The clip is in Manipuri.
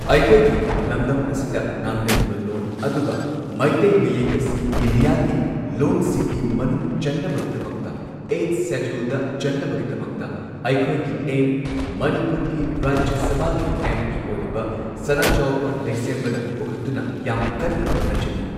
ꯑꯩꯈꯣꯏꯒꯤ ꯂꯝꯗꯝ ꯑꯁꯤꯗ ꯉꯥꯡꯅꯔꯤꯕ ꯂꯣꯟ ꯑꯗꯨꯒ ꯃꯩꯇꯩ ꯃꯌꯦꯛ ꯑꯁꯤ ꯏꯟꯗꯤꯌꯥꯒꯤ ꯂꯣꯟꯁꯤꯡꯒꯤ ꯃꯅꯨꯡ ꯆꯟꯅꯕꯒꯤꯗꯃꯛꯇ ꯑꯥꯏꯇ ꯁꯦꯗꯨꯜꯗ ꯆꯟꯅꯕꯒꯤꯗꯃꯛꯇ ꯑꯩꯈꯣꯏꯒꯤ ꯑꯦꯝ ꯃꯅꯤꯄꯨꯔꯒꯤ ꯔꯥꯖ꯭ꯌꯥ ꯁꯚꯥꯒꯤ ꯑꯦꯝ ꯄꯤ ꯑꯣꯢꯔꯤꯕ ꯁꯅꯥꯖꯥꯎꯕ ꯂꯩꯁꯦꯝꯕꯅ ꯄꯨꯈꯠꯇꯨꯅ ꯌꯥꯝ ꯀꯟꯅ ꯍꯣꯠꯅꯖꯔꯤ꯫